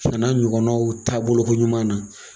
O fana na ɲɔgɔnnaw taabolokoɲuman na.